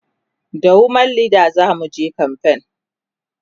da woman Leda zamuje kamfen